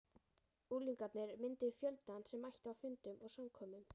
Unglingarnir mynduðu fjöldann sem mætti á fundum og samkomum.